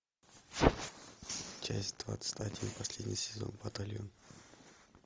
часть двадцать один последний сезон батальон